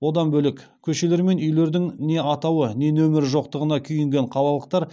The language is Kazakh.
одан бөлек көшелер мен үйлердің не атауы не нөмірі жоқтығына күйінген қалалықтар